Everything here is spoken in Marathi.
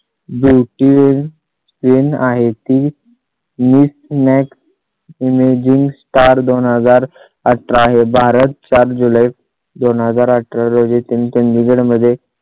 beautyqueen आहे. miss max emerging star दोन हजारअठरा हे भारत सात जुलै दोन हजार अठरा रोजी तीन चंडीगढ मध्ये.